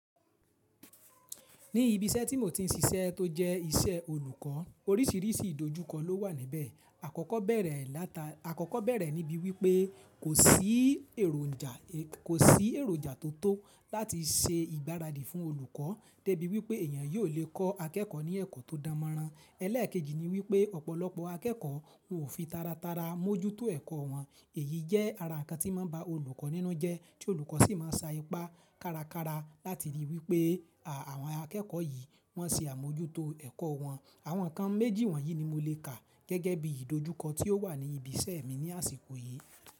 Ní ibi iṣẹ́ tí mo ti ń ṣiṣẹ́ tó jẹ́ iṣẹ́ olùkọ́, oríṣiríṣi ìdojúkọ ló wà níbẹ̀. Àkọ́kọ́ bẹ̀rẹ̀ láta, àkọ́kọ́ bẹ̀rẹ̀ níbí wípé kò sí èròjà, kò sí èròjà tó tó láti ṣe ìgbáradì fún olùkọ́ débi wípé èèyàn yóò lè kọ́ akẹ́kọ̀ọ́ ní ẹ̀kọ́ tó dan mẹran. Ẹlẹ́ẹ̀keji ni wípé ọ̀pọ̀lọpọ̀ akẹ́kọ̀ọ́ wọn ò fi taratara mójútó ẹ̀kọ́ wọn. Èyí jẹ́ ara ǹkan tí máa ń ba olùkọ́ nínú jẹ́, tí olùkọ́ sì máa ń sa ipá kárakára láti ríi wípé àwọn akẹ́kọ̀ọ́ yìí wọ́n ṣe àmójútó ẹ̀kọ́ wọn. Àwọn ǹkan méjì wọ̀nyí ni mo lè kà gẹ́gẹ́ bí ìdojúkọ tí ó wà ní ibi iṣẹ́ mi ní àsìkò yìí.